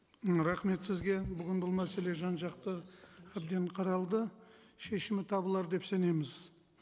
м рахмет сізге бүгін бұл мәселе жан жақты әбден қаралды шешімі табылар деп сенеміз